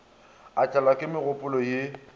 a tlelwa ke megopolo ye